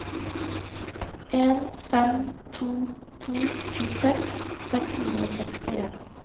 en fem to to tjueseks seks hundre og sekstien